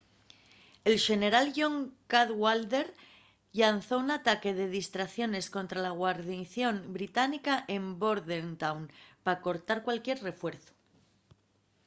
el xeneral john cadwalder llanzó un ataque de distracción escontra la guarnición británica en bordentown pa cortar cualquier refuerzu